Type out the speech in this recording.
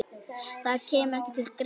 Það kemur ekki til greina!